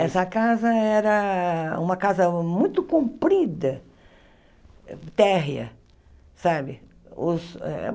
Essa casa era uma casa muito comprida, térrea, sabe? Os eh